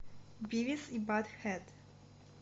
бивис и батхед